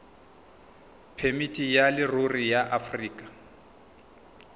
phemiti ya leruri ya aforika